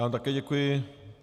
Já vám také děkuji.